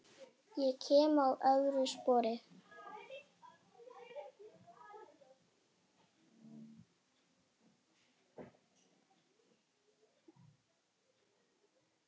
Ég kem að vörmu spori.